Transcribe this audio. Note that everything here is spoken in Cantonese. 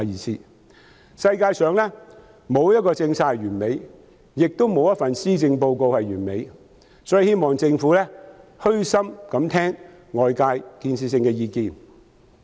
世界上沒有一項政策是完美的，亦沒有一份施政報告是完美的，所以希望政府可以虛心聆聽外界有建設性的意見。